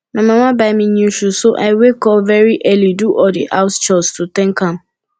my mama buy me new shoe so i wake up very early do all the house chores to thank am